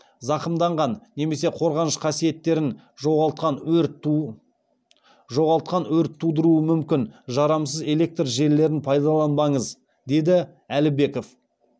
зақымданған немесе қорғаныш қасиеттерін жоғалтқан өрт тудыруы мүмкін жарамсыз электр желілерін пайдаланбаңыз деді әлібеков